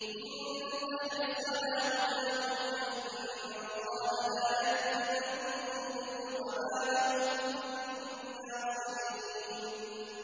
إِن تَحْرِصْ عَلَىٰ هُدَاهُمْ فَإِنَّ اللَّهَ لَا يَهْدِي مَن يُضِلُّ ۖ وَمَا لَهُم مِّن نَّاصِرِينَ